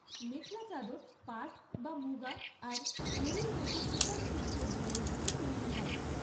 মেখলা চাদর পাট বা মুগা আর এরির মতো চিকন সিল্কের ধরন থেকে তৈরি হয়।